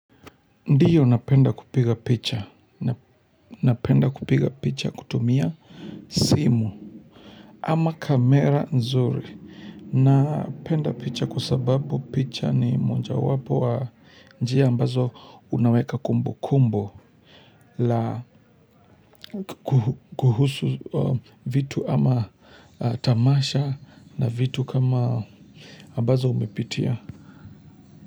Ndiyo napenda kupiga picha, napenda kupiga picha kutumia simu ama kamera nzuri, napenda picha kwa sababu picha ni moja wapo wa njia ambazo unaweka kumbu kumbu kuhusu vitu ama tamasha na vitu kama ambazo umepitia.